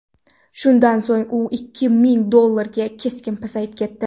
Shundan so‘ng u ikki ming dollarga keskin pasayib ketdi.